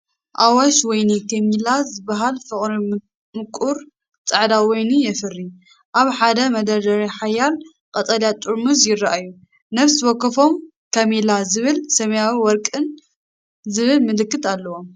ኣዋሽ ወይኒ "ከሚላ" ዝበሃል ፍርቂ ምቁር ጻዕዳ ወይኒ የፍሪ። ኣብ ሓደ መደርደሪ ሓያሎ ቀጠልያ ጥርሙዝ ይረኣዩ፡ ነፍሲ ወከፎም "ከሚላ" ዝብል ሰማያውን ወርቅን ዝብል ምልክት ኣለዎም።